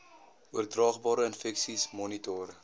oordraagbare infeksies monitor